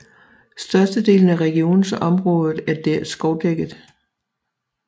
Størstedelen af regionens området er skovdækket